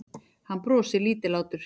Hann brosir lítillátur.